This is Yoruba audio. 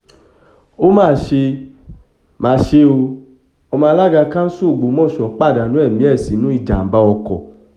ó mà ṣe mà ṣe o ọmọ alága kansú ògbómọṣọ́ pàdánù ẹ̀mí ẹ̀ sínú ìjàḿbá ọkọ̀